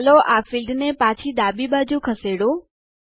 તો ચાલો આ ફિલ્ડ ને પાછી ડાબી બાજુ ખસેડો